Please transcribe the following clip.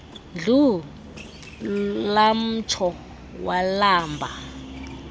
ndlu lamtsho walamba